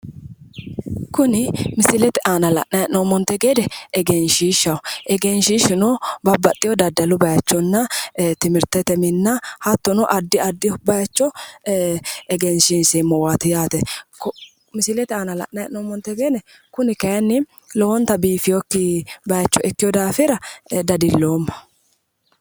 Kuni misilete aana la'nayi hee'noommonte gede egenshiishshaho egenshiishshuno babbaxxeyo daddalu bayiichonna timirtete minna hattono addi addi bayiicho egensiinseemmowaati yaate misilete aana la'nayi hee'nommonte gede kuni kayiinni lowonta bifeeyookki bayiicho ikkewo daafira dadilloomma.